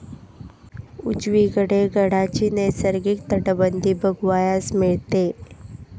उजवीकडे गडाची नैसर्गिक तटबंदी बघावयास मिळते.